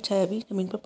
छाया भी जमीन पर पड़ --